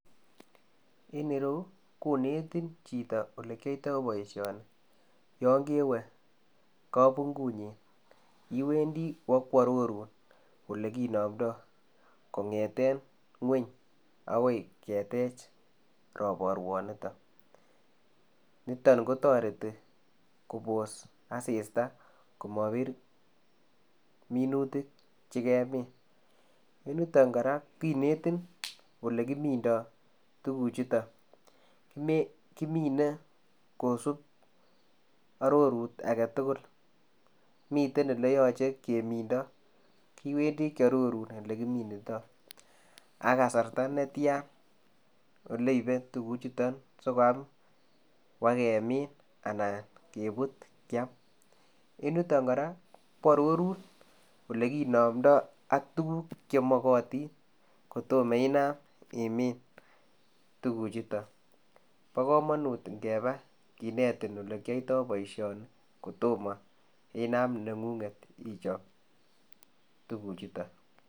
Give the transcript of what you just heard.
En ireyuu konetiin chitoo ole kiyaitaa boisioni yaan kewe kapunguut nyiin, iwendii ibak ko aroruun ole kinamndai kongeteen ngweeny agoi keteech raparwaan nitoon, nitoon ko taretii koboos assistaa komabiir minutiik che ke miin yutoon kora konetiin Ile kiminda minutiik chutoon, kimine kisuup arorut age tugul miten ele yachei ele keminda iwendii kiaroruun ole kiminda ak kasarta ne tyaan sikoyaam ibaak kemiin anan kebuut keyaam ko aroruun ole kinamndai ak tuguuk che magatiin koitamaah Inaam imiin tuguuk chutoon bo kamanut kebaa konetiin ole kiyaitaa boisioni kotomah inam nengunget ichap tuguuk chutoon.